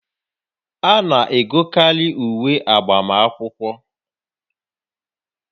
A na-egokarị uwe agbamakwụkwọ